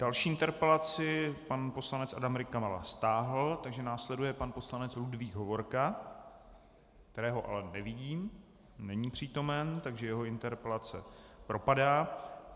Další interpelaci pan poslanec Adam Rykala stáhl, takže následuje pan poslanec Ludvík Hovorka, kterého ale nevidím, není přítomen, takže jeho interpelace propadá.